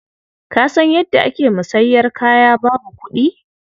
Ka san yadda ake musanyar kaya babu kuɗi?